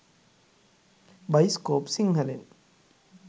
෴bioscope සිංහලෙන්෴